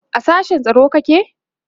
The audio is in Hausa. a sashen tsaro kake?